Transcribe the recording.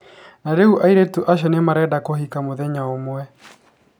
Na rĩu airĩtu acio nĩ marenda kũhika mũthenya ũmwe.